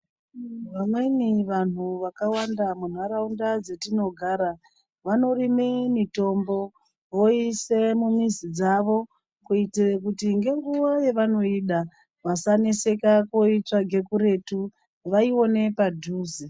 Vamweni vanhu vakawanda mu nharaunda dzatino gara vano rime mitombo voise mu mizi dzavo kuitire kuti nge nguva yavanoida vasa neseka kuitsvaga kuretu vaione padhuze.